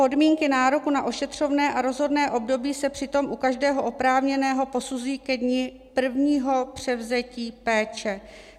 podmínky nároku na ošetřovné a rozhodné období se přitom u každého oprávněného posuzují ke dni prvního převzetí péče.